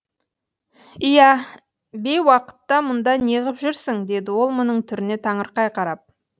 иә бейуақытта мұнда не ғып жүрсің деді ол мұның түріне таңырқай қарап